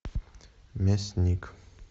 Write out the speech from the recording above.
мясник